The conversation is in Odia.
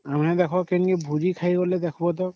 ହବ ହେଲେ ଭୋଜି ଖାଇ ଗଲେ ଦେଖବା ତା !...